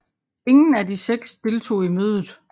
Ingen af de seks deltog i mødet